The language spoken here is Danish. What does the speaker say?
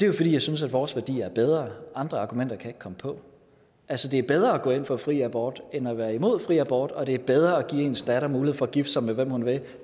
jo fordi jeg synes at vores værdier er bedre andre argumenter kan jeg ikke komme på altså det er bedre at gå ind for fri abort end at være imod fri abort og det er bedre at give ens datter mulighed for at gifte sig med hvem hun vil